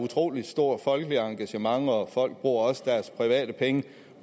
utrolig stort folkeligt engagement og folk bruger også deres private penge